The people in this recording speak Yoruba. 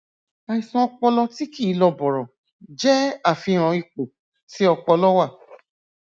àìsàn ọpọlọ tí kìí lọ bọrọ jé àfihàn ipò tí ọpọlọ wà